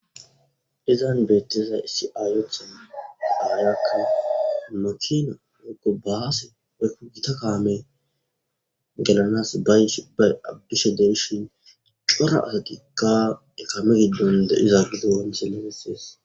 Izan beettiza issi aayotha aayakka makina wookko baaase eko gita kaame gelanas abishe derishin cora asatikka ekame giddon de7izaagido ancheleesees